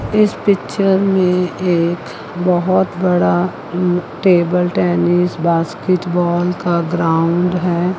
इस पिक्चर में एक बहुत बड़ा उम्म टेबल टेनिस बास्केटबॉल का ग्राउंड है।